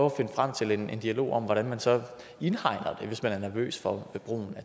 at finde frem til en dialog om hvordan man så indregner det hvis man er nervøs for brugen